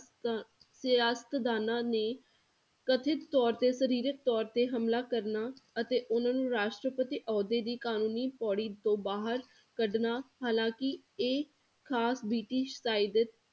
ਤਾਂ ਸਿਆਸਤਦਾਨਾਂ ਨੇ ਕਥਿੱਤ ਤੌਰ ਤੇ ਸਰੀਰਕ ਤੌਰ ਤੇ ਹਮਲਾ ਕਰਨਾ ਅਤੇ ਉਨ੍ਹਾਂ ਨੂੰ ਰਾਸ਼ਟਰਪਤੀ ਅਹੁਦੇ ਦੀ ਕਾਨੂਨੀ ਪੌੜੀ ਤੋਂ ਬਾਹਰ ਕੱਢਣਾ ਹਾਲਾਂਕਿ ਇਹ ਖਾਸ ਬ੍ਰਿਟਿਸ਼